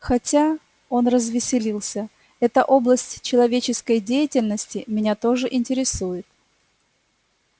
хотя он развеселился эта область человеческой деятельности меня тоже интересует